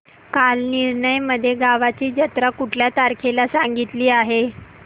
कालनिर्णय मध्ये गावाची जत्रा कुठल्या तारखेला सांगितली आहे